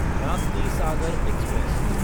Raptisagar express